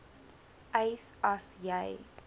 eis as jy